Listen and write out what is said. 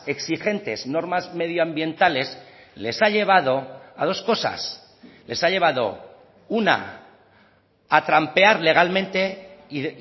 exigentes normas medioambientales les ha llevado a dos cosas les ha llevado una a trampear legalmente y